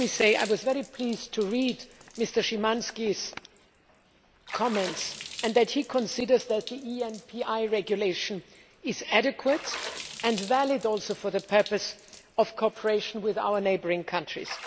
I was very pleased to read Mr Szymański's comments and to see that he considers that the ENPI regulation is adequate and valid for the purpose of cooperation with our neighbouring countries.